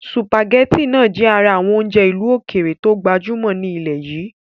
Sùpàgétì náà jẹ ara àwọn oúnjẹ ìlú ókéré to gbajúmọ̀ ní ilẹ́ yìí